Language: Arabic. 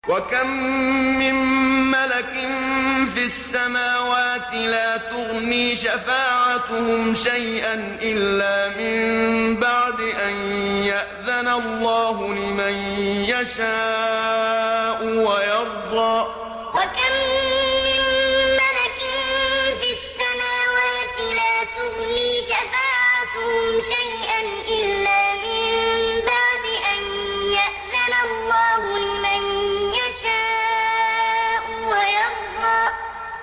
۞ وَكَم مِّن مَّلَكٍ فِي السَّمَاوَاتِ لَا تُغْنِي شَفَاعَتُهُمْ شَيْئًا إِلَّا مِن بَعْدِ أَن يَأْذَنَ اللَّهُ لِمَن يَشَاءُ وَيَرْضَىٰ ۞ وَكَم مِّن مَّلَكٍ فِي السَّمَاوَاتِ لَا تُغْنِي شَفَاعَتُهُمْ شَيْئًا إِلَّا مِن بَعْدِ أَن يَأْذَنَ اللَّهُ لِمَن يَشَاءُ وَيَرْضَىٰ